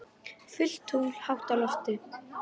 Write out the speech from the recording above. Fullt tungl hátt á lofti.